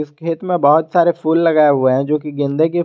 खेत में बहोत सारे फूल लगाए हुए हैं जो कि गेंदे के--